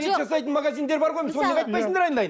ет жасайтын магазиндер бар ғой соны неге айтпайсыңдар айналайын